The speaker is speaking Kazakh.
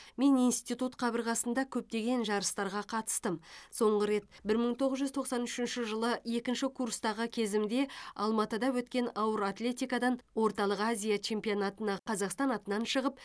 мен институт қабырғасында көптеген жарыстарға қатыстым соңғы рет бір мың тоғыз жүз тоқсан үшінші жылы екінші курстағы кезімде алматыда өткен ауыр атлетикадан орталық азия чемпионатына қазақстан атынан шығып